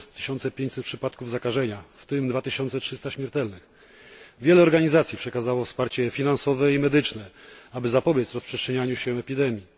4500 przypadków zakażenia, w tym 2300 śmiertelnych. Wiele organizacji przekazało wsparcie finansowe i medyczne, aby zapobiec rozprzestrzenianiu się epidemii.